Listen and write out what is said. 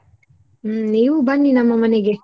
ಹ್ಮ್ ನೀವು ಬನ್ನಿ ನಮ್ಮ ಮನೆಗೆ.